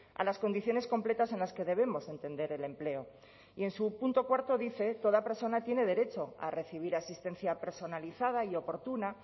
a las condiciones completas en las que debemos entender el empleo y en su punto cuarto dice toda persona tiene derecho a recibir asistencia personalizada y oportuna